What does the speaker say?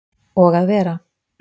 Og að vera